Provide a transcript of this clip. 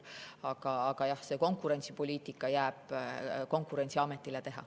Aga jah, see konkurentsipoliitika jääb Konkurentsiameti teha.